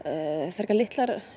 frekar litlar